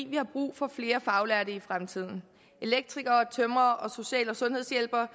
vi har brug for flere faglærte i fremtiden elektrikere tømrere og social og sundhedshjælpere